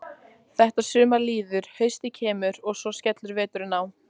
Þetta sumar líður, haustið kemur og svo skellur veturinn á.